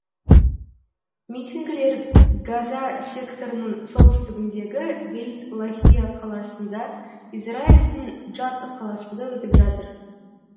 митингілер газа секторының солтүстігіндегі бейт лахия қаласында израильдің джатт қаласында өтіп жатыр